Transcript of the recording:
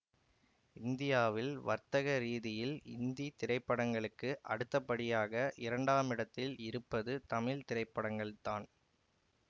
இந்தியாவில் வர்த்தகரீதியில் இந்தி திரைப்படங்களுக்கு அடுத்தபடியாக இரண்டாமிடத்தில் இருப்பது தமிழ் திரைப்படங்கள்தான்